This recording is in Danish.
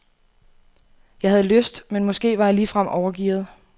Jeg havde lyst, men måske var jeg ligefrem overgearet.